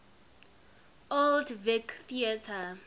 old vic theatre